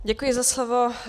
Děkuji za slovo.